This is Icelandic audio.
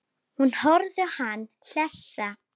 Hún horfir á hann hlessa.